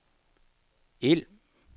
ild